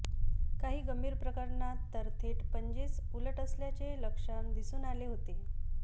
काही गंभीर प्रकरणात तर थेट पंजेच उलट असल्याचे लक्षण दिसून आले होते